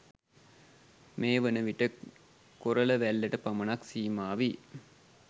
මේවන විට කොරලවැල්ලට පමණක් සීමා වී